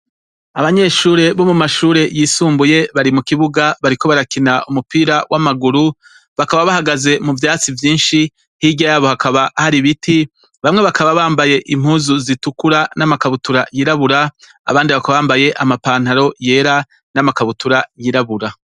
Abanyeshure bo mu mashuri yisumbuye ,bari mu kibuga bariko barakina umupira w'amaguru ,bakaba bahagaze mu vyatsi vyinshi hirya yabo hakaba hari biti bamwe bakaba bambaye impuzu zitukura n'amakabutura y'irabura, abandi bakaba bambaye amapantaro yera n'amakabutura y'irabura.